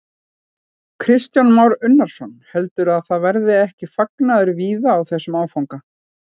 Kristján Már Unnarsson: Heldurðu að það verði ekki fagnaður víða á þessum áfanga?